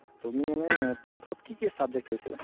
তুমি এনে tenth ত কি কি subject লইছিলা?